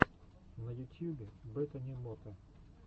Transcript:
на ютьюбе бетани мота